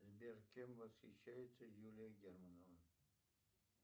сбер кем восхищается юлия германова